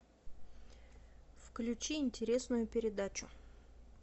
включи интересную передачу